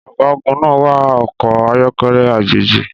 Ọ̀gágun náà wa ọkọ̀ ayọ́kẹ́lẹ́ àjèjì.